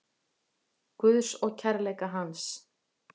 Guðs og kærleika hans.